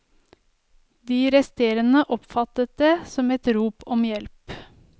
De resterende oppfattet det som et rop om hjelp.